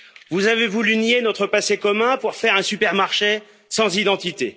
Vous avez voulu nier notre passé commun pour faire un super marché sans identité.